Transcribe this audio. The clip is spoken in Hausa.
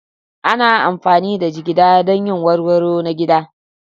Ana amfani da jigida don yin warwaro na gida.